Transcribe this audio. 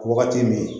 Wagati min